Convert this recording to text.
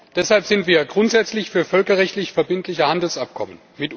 Deshalb sind wir grundsätzlich für völkerrechtlich verbindliche Handelsabkommen.